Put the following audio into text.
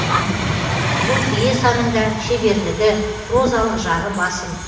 бұл пьесаның да шеберлігі прозалық жағы басым